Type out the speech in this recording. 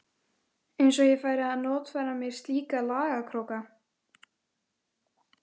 Eins og ég færi að notfæra mér slíka lagakróka.